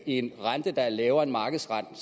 en rente der er lavere end markedsrenten